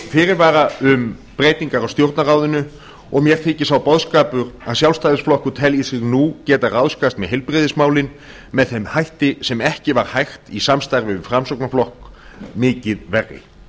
fyrirvara um breytingar á stjórnarráðinu og mér þykir sá boðskapur að sjálfstæðisflokkur telji sig nú geta ráðskast með heilbrigðismálin með þeim hætti sem ekki var hægt í samstarfi við framsóknarflokk mikið verri